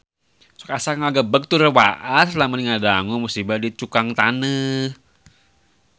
Sok asa ngagebeg tur waas lamun ngadangu musibah di Cukang Taneuh